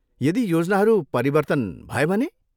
यदि योजनाहरू परिवर्तन भए भने?